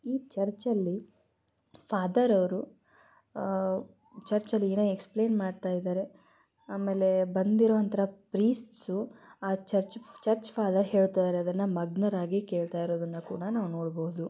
ಈ ಚರ್ಚ್ ಅಲ್ಲಿ ಫಾದರ್ ಅವರು ಚರ್ಚ್ಲ್ಲಿ ಏನೋ ಎಕ್ಸ್ಪ್ಲೈನ್ ಮಾಡ್ತಾ ಇದ್ದಾರೆ ಆಮೇಲೆ ಬಂದಿರೋ ಅಂತಾ ಪ್ರೈಸ್ಟ್ಸು ಆ ಚರ್ಚ್ ಫಾದರ್ ಹೇಳ್ತಾಇದರೆ ಅದನಾ ಮಗ್ನರಾಗಿ ಕೇಳ್ತಾಇರೋದನು ಕೂಡ ನಾವ ನೋಡಬಹುದು.